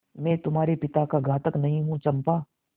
मैं तुम्हारे पिता का घातक नहीं हूँ चंपा